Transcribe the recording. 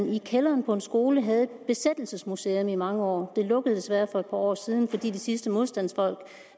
i kælderen på en skole havde et besættelsesmuseum i mange år det lukkede desværre for et par år siden fordi de sidste modstandsfolk